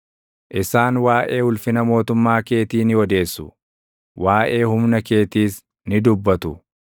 Isaan waaʼee ulfina mootummaa keetii ni odeessu; waaʼee humna keetiis ni dubbatu;